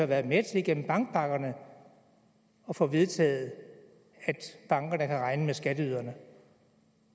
været med til gennem bankpakkerne at få vedtaget at bankerne kan regne med skatteyderne